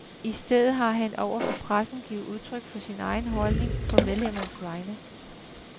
I stedet har han over for pressen givet udtryk for sin egen holdning, på medlemmernes vegne.